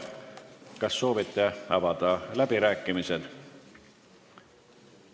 Kas soovite avada läbirääkimised?